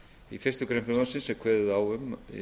í fyrstu grein frumvarpsins er kveðið á um